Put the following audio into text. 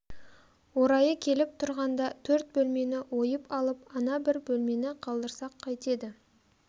орайы келіп тұрғанда төрт бөлмені ойып алып ана бір бөлмені қалдырсақ қайтеді